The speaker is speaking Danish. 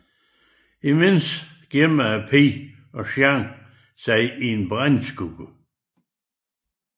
Imens gemmer pigen og Jean sig i et brændeskur